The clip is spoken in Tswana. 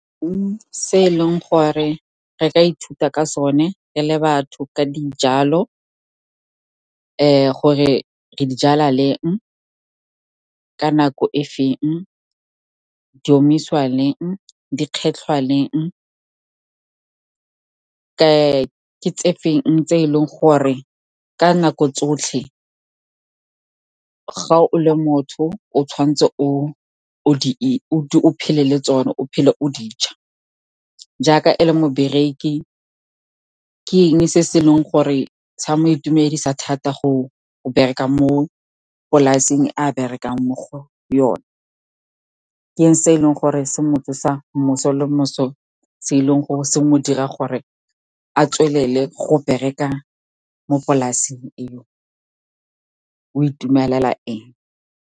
Se e leng gore re ka ithuta ka sone re le batho ke ka dijalo, gore re di jala leng, ka nako efeng, di omisiwa leng, di kgetlhwa leng. Ke tse feng tse e leng gore ka nako tsotlhe, ga o le motho, o tshwanetse phele le tsona, o phele o di ja, jaaka e le mobereki. Ke eng se e leng gore sa mo itumedisa thata ka go bereka mo polaseng e a go berekang mo go yone? Ke eng se e leng gore se mo tsosa moso le moso, se e leng gore se mo dira gore a tswelele go bereka mo polaseng eo, o itumelela eng?